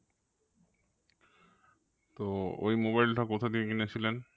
তো ওই mobile টা কোথা থেকে কিনেছিলেন?